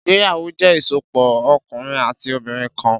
Ìgbéyàwó jẹ́ ìsopọ̀ ọkùnrin àti obìnrin kan.